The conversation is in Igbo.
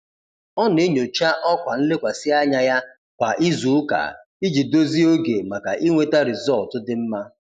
Ọ na-enyocha ọkwa nlekwasị anya ya kwa izuụka iji dozie oge maka inweta rịzọlt dị mma.